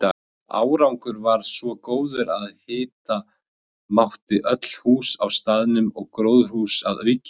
Árangur varð svo góður að hita mátti öll hús á staðnum og gróðurhús að auki.